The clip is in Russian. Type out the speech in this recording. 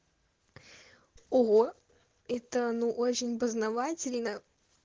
ого это ну очень познавательно